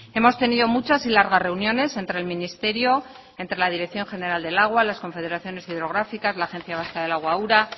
hemos tenido muchas y largar reuniones entre el ministerio entre la dirección general del agua las confederaciones hidrográficas las agencia vasca de agua ura